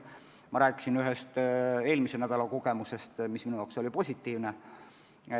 Ma rääkisin ühest eelmise nädala kogemusest, mis minu jaoks oli positiivne.